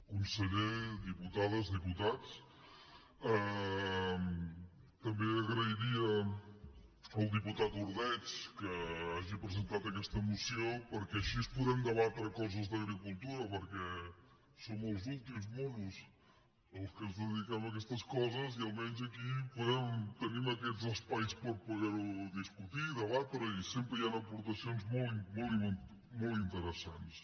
conseller diputades diputats també agrairia al diputat ordeig que hagi presentat aquesta moció perquè així podem debatre coses d’agricultura perquè som els últims monos els que ens dediquem a aquestes coses i almenys aquí tenim aquests espais per poder ho discutir i debatre i sempre hi han aportacions molt i molt interessants